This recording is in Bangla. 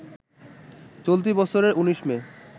চলতি বছরে ১৯ মে